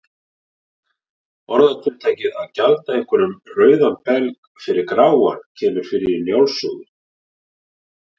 Orðatiltækið að gjalda einhverjum rauðan belg fyrir gráan kemur fyrir í Njáls sögu.